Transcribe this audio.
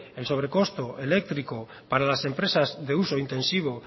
el sobrecosto eléctrico para las empresas de uso intensivo